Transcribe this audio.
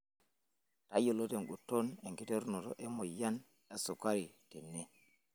Tayiolo tenguton enkiterunoto emoyian esukari tene.